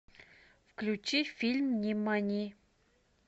включи фильм нимани